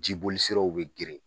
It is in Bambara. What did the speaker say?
Jibolisiraw bɛ geren